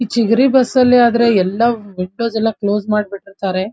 ಇಚ್ಚಿಗಿರಿ ಬಸ್ನಲಾದ್ರೆ ಎಲ್ಲವ್ವ್ ವಿಂಡೋಸ್ ಎಲ್ಲ ಕ್ಲೋಸ್ ಮಾಡ್ ಬಿಟ್ಟಿರ್ತಾರೆ.